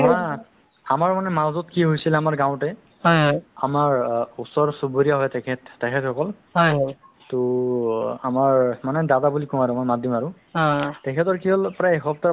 এইবিলাক সু অকনো সুবিধা নাছিলে আজিকালি চোৱা খোৱা-বোৱা লৈ বা মানুহৰ যিটো pressure low হৈ যায় নহয় জানো to blood ৰ problem হৈ যায় সেইটোৰ কাৰণে কি কই কি কৰে তেওঁলোক মানে আ